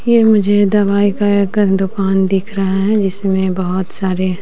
ये मुझे दवाई का एक दुकान दिख रहा है जिसमें बहोत सारे--